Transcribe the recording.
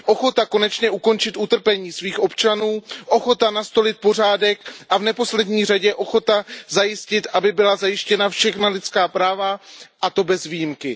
Ochota konečně ukončit utrpení svých občanů, ochota nastolit pořádek a v neposlední řadě ochota zajistit, aby byla zajištěna všechna lidská práva, a to bez výjimky.